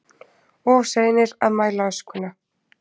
Of seinir að mæla öskuna